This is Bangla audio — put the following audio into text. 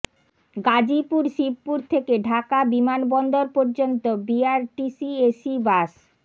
গাজীপুর শিবপুর থেকে ঢাকা বিমানবন্দর পর্যন্ত বিআরটিসি এসি বাস